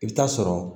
I bɛ taa sɔrɔ